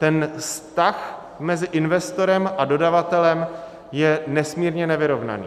Ten vztah mezi investorem a dodavatelem je nesmírně nevyrovnaný.